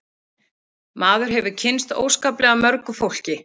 Maður hefur kynnst óskaplega mörgu fólki